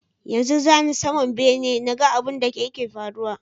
Yanzu zani saman bene naga abun da yake faruwa